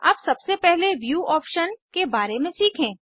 अब सबसे पहले व्यू ऑप्शन के बारे में सीखें